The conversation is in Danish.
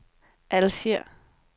Alger